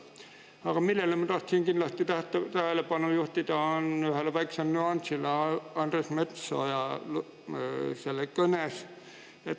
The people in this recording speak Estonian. Aga ma tahtsin kindlasti tähelepanu juhtida ühele väikesele nüansile Andres Metsoja kõnes.